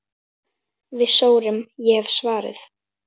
Við sórum, ég hef svarið.